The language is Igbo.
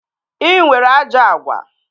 Ị nwere ajọ agwa